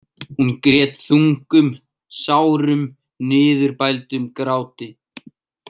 Hún grét þungum, sárum, niðurbældum gráti.